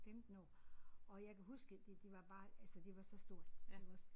15 år og jeg kan huske det det var bare altså det var så stort det var også